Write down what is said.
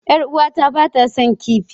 Yar uwata ba ta son kifi.